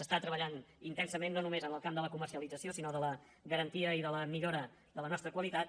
es treballa intensament no només en el camp de la comercialització sinó de la garantia i de la millora de la nostra qualitat